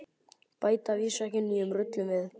Bæta að vísu ekki nýjum rullum við.